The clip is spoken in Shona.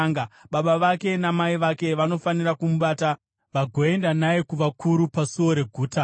baba vake namai vake vanofanira kumubata vagoenda naye kuvakuru pasuo reguta.